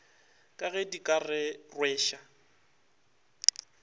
ka ge di ka rweša